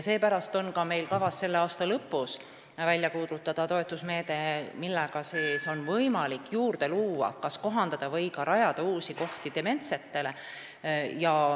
Seepärast on meil kavas selle aasta lõpus välja kuulutada toetusmeede, millega on võimalik juurde luua, st kas kohandada või ka rajada uusi kohti dementsetele.